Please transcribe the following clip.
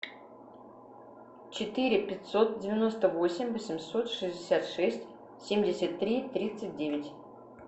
четыре пятьсот девяносто восемь восемьсот шестьдесят шесть семьдесят три тридцать девять